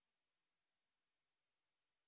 এই বিষয় বিস্তারিত তথ্য এই লিঙ্ক এ প্রাপ্তিসাধ্য